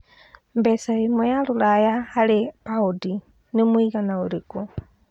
mbeca ĩmwe ya rũraya harĩ paũndi nĩ mũigana ũrikũ